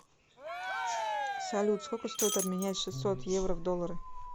салют сколько стоит обменять шестьсот евро в доллары